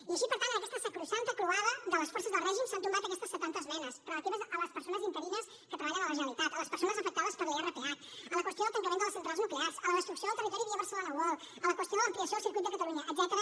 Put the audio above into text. i així per tant en aquesta sacrosanta croada de les forces del règim s’han tombat aquestes setanta esmenes relatives a les persones interines que treballen a la generalitat a les persones afectades per l’irph a la qüestió del tancament de les centrals nuclears a la destrucció del territori via barcelona world a la qüestió de l’ampliació del circuit de catalunya etcètera